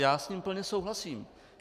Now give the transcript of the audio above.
Já s ním plně souhlasím.